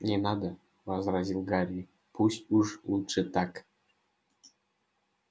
не надо возразил гарри пусть уж лучше так